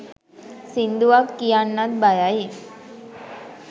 සින්දුවක් කියන්නත් බයයි